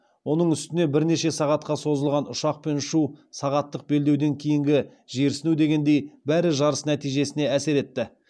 оның үстіне бірнеше сағатқа созылған ұшақпен ұшу сағаттық белдеуден кейінгі жерсіну дегендей бәрі жарыс нәтижесіне әсер етті